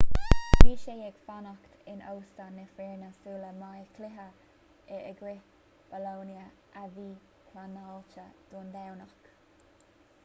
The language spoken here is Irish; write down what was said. bhí sé ag fanacht in óstán na foirne sula mbeidh cluiche in aghaidh bolonia a bhí pleanáilte don domhnach